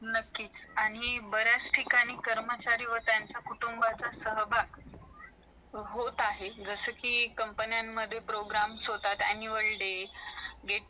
त्या बघ त्या बघितल्या पाहिजे त्यांच्या actor ची माहिती पाहिजे त्यांनी सुद्धा reality show बघितले पाहिजे जस कि चला चला हवा येऊ दे हा reality show आहे महाराष्ट्राची हास्य जत्रा हे comedy show आहे बघितलं पाहिजे